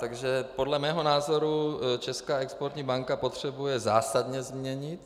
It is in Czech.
Takže podle mého názoru Česká exportní banka potřebuje zásadně změnit.